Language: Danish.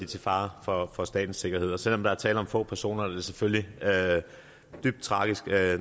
til fare for for statens sikkerhed og selv om der er tale om få personer er det selvfølgelig dybt tragisk